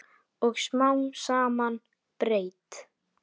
Og smám saman breyt